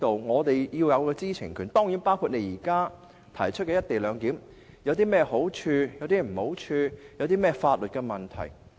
我們是要有知情權的，當然亦包括現時政府提出的"一地兩檢"究竟有何好處或壞處和所涉及的法律問題。